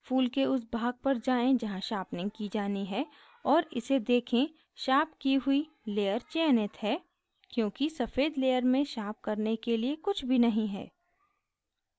फूल के उस भाग पर जाएँ जहाँ sharpening की जानी है और इसे देखें sharpen की हुई layer चयनित है क्योंकि सफ़ेद layer में sharpen करने के लिए कुछ भी नहीं है